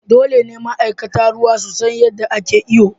Dole ne ma'aikatan ruwa su san yadda ake iyo.